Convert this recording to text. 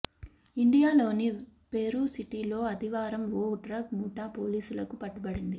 ఇండియానాలోని Peru సిటీలో ఆదివారం ఓ డ్రగ్ ముఠా పోలీసులకు పట్టుబడింది